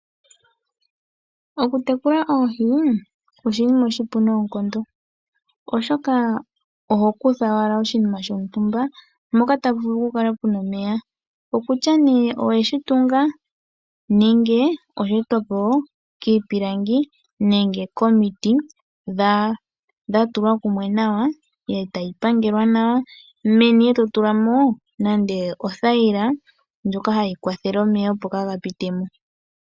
Okutekula oohi oshinima oshipu noonkondo oshoka oho kutha owala oshinima shontumba moka tamu vulu okukala muna omeya. Okutya oweshi tunga nenge sheetwapo kiipilangi nenge komiti dhatulwa kumwe nawa, etayi pangelwa nawa, meni eto tulamo othayila ndjoka hayi kwathele omeya opo kaaga pitemo.